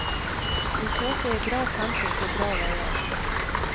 Vi kjørte i bra tempo på bra veier.